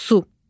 Su.